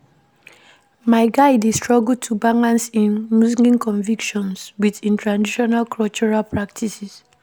My guy dey struggle to balance im Muslim convictions wit im traditional cultural practices.